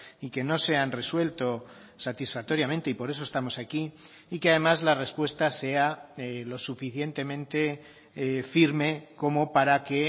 y que no se han resuelto satisfactoriamente y por eso estamos aquí y que además la respuesta sea lo suficientemente firme como para que